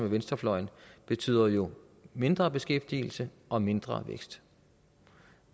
venstrefløjen betyder jo mindre beskæftigelse og mindre vækst